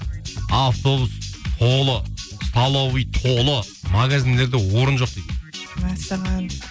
автобус толы столовый толы мағазиндерде орын жоқ дейді мәссаған